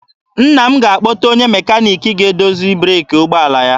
Nna m ga-akpọta onye mekaniki ga-edozi breeki ụgbọala ya.